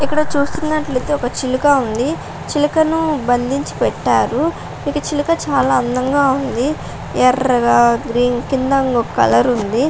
ఇక్కడ చూస్తునట్లైతే ఒక చిలుక ఉంది చిలకను బంధించి పెట్టారు ఇది చిలుక చాలా అందంగా ఉంది ఎర్రగా గ్రీన్ కింద ఇంకొక కలర్ ఉంది --